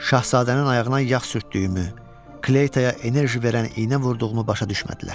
Şahzadənin ayağına yağ sürtdüyümü, Kleytaya enerji verən iynə vurduğumu başa düşmədilər.